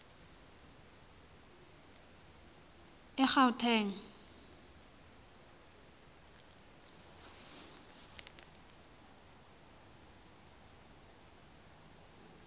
egauteng